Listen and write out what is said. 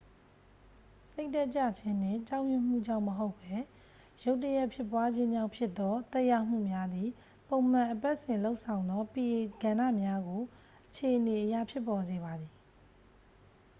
စိတ်ဓာတ်ကျခြင်းနှင့် ကြောက်ရွံ့မှုကြောင့်မဟုတ်ဘဲ ရုတ်တရက်ဖြစ်ပွားခြင်းကြောင့်ဖြစ်သော သက်ရောက်မှုများသည် ပုံမှန်အပတ်စဉ်လုပ်ဆောင်သော pa ကဏ္ဍများကို အခြေအနေအရ ဖြစ်ပေါ်စေပါသည်